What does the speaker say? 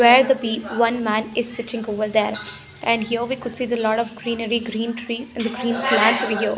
where the pe one man is sitting over there and here we could see the lot of greenery green trees and the green plants over here.